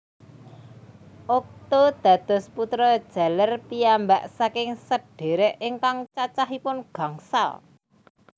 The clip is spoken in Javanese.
Okto dados putra jaler piyambak saking sedhérék ingkang cacahipun gangsal